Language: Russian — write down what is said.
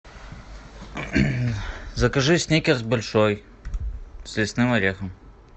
закажи сникерс большой с лесным орехом